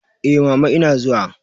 Eh, mama ina zuwa.